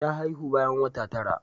Ta haihu bayan wata tara.